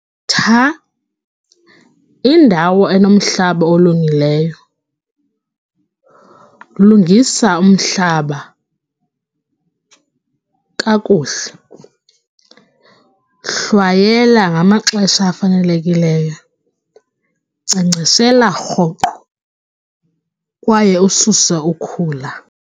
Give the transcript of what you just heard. indawo enomhlaba olungileyo, lungisa umhlaba kakuhle, hlwayelwa ngamaxesha afanelekileyo, nkcenkceshela rhoqo kwaye ususe ukhula.